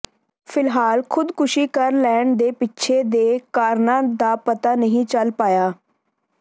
ਫਿਲਹਾਲ ਖੁਦਕੁਸ਼ੀ ਕਰ ਲੈਣ ਦੇ ਪਿੱਛੇ ਦੇ ਕਾਰਨਾਂ ਦਾ ਪਤਾ ਨਹੀਂ ਚਲ ਪਾਇਆ